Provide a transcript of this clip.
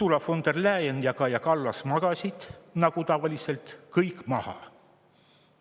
Ursula von der Leyen ja Kaja Kallas magasid nagu tavaliselt kõik maha.